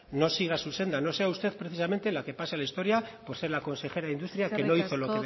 no siga su senda no sea usted precisamente la que pase a la historia por ser la consejera de industria que no hizo lo